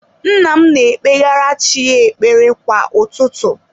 Nna m na-ekpegara chi ya ekpere kwa ụtụtụ.